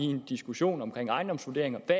en diskussion om ejendomsvurderinger at